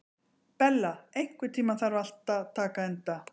Bella, einhvern tímann þarf allt að taka enda.